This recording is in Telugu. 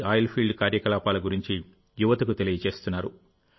ఆయిల్ ఫీల్డ్ కార్యకలాపాల గురించి యువతకు తెలియజేస్తున్నారు